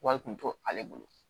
Wari kun to ale bolo